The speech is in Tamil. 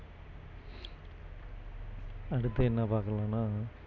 அடுத்து என்ன பாக்கலாம்னா